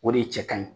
O de ye cɛ ka ɲi